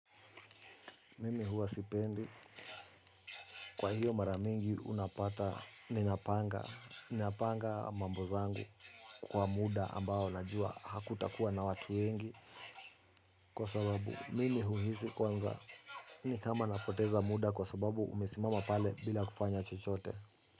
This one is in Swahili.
Mimi huwa sipendi. Kwa hiyo mara mingi unapata ninapanga. Ninapanga mambo zangu kwa muda ambao najua hakutakuwa na watu wengi kwa sababu mimi huhisi kwanza. Ni kama napoteza muda kwa sababu umesimama pale bila kufanya chochote.